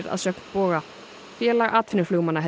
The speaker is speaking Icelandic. að sögn Boga félag atvinnuflugmanna